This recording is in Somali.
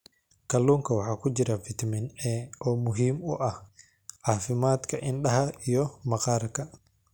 Kalluunka waxaa ku jira fitamiin A oo muhiim u ah caafimaadka indhaha iyo maqaarka.